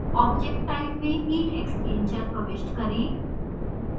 object type में heat exchanger प्रविष्ट करें